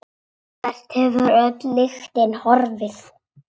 Hvert hefur öll lyktin horfið?